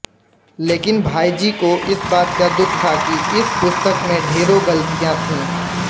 लेकिन भाईजी को इस बात का दुख था कि इस पुस्तक में ढेरों गलतियाँ थी